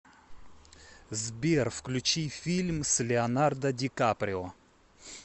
сбер включи фильм с леонардо ди каприо